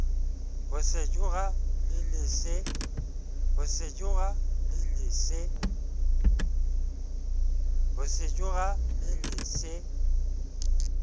ho sejura le le se